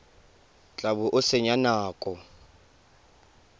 tla bo o senya nako